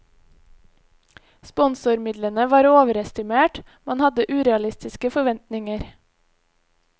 Sponsormidlene var overestimert, man hadde urealistiske forventninger.